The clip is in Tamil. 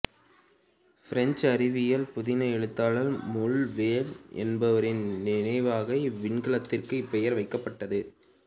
பிரெஞ்சு அறிவியல் புதின எழுத்தாளர் ழூல் வேர்ண் என்பவரின் நினைவாக இவ்விண்கலத்திற்கு இப்பெயர் வைக்கப்பட்டது